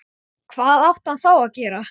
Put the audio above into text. Mönnum sýndist sitthvað um þessa sýningu.